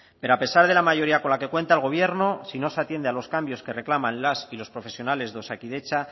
pero a pesar de la mayoría con la que cuenta el gobierno si no se atiende a los cambios que reclaman las y los profesionales de osakidetza